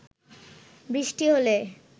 বৃষ্টি হলে